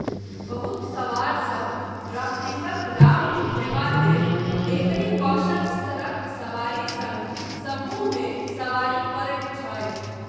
बहुत सवारसभ ड्राफ्टिंगक लाभ उठयबा लेल एकहि कौशल स्तरक सवारी सङ्ग समूहमे सवारी करैत छथि।